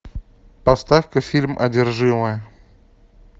поставь ка фильм одержимая